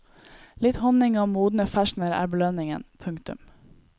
Litt honning og modne ferskener er belønningen. punktum